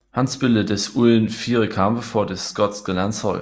Han spillede desuden fire kampe for det skotske landshold